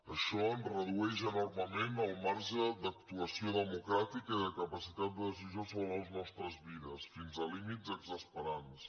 això ens redueix enormement el marge d’actuació democràtica i de capacitat de decisió sobre les nostres vides fins a límits exasperants